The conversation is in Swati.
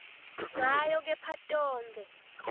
ngayo kepha tonkhe